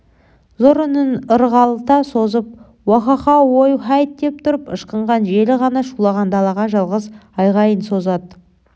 зор үнін ырғалта созып уахахау ой-һайт деп тұрып ышқынған желі ғана шулаған далаға жалғыз айғайын созады